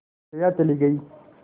जया चली गई